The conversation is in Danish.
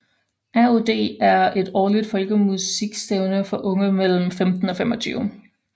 ROD er et årligt folkemusikstævne for unge mellem 15 og 25